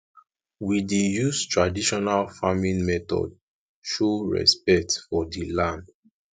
we dey use traditional farming method show respect for di land